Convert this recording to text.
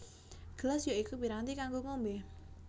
Gelas ya iku piranti kanggo ngombé